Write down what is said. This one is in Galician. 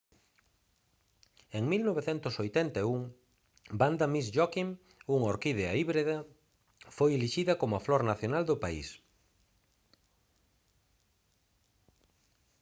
en 1981 vanda miss joaquim unha orquídea híbrida foi elixida como a flor nacional do país